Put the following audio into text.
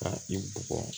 Ka i bugɔ